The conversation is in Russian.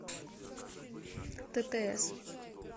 ттс